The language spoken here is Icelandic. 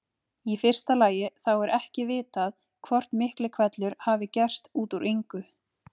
Í fyrsta lagi þá er ekki vitað hvort Miklihvellur hafi gerst út úr engu.